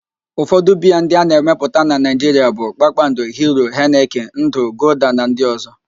Ụfọdụ biaa a na-emepụta na Naịjiria bụ: Kpakpando, Hiro, Henịkin, Ndụ, Golda na ndị ọzọ